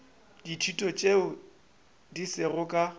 ditulo tše di sego ka